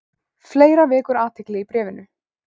Fleira vekur athygli í bréfinu.